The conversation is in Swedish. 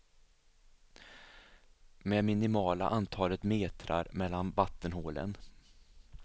Med minimala antalet metrar mellan vattenhålen.